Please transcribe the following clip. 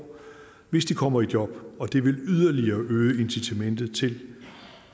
hvis de kommer i job og det vil yderligere øge incitamentet til